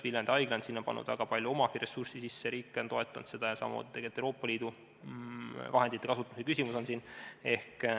Viljandi Haigla on pannud sinna väga palju oma ressurssi sisse, riik on seda toetanud ja samamoodi oli siin tegelikult Euroopa Liidu vahendite kasutuse küsimus.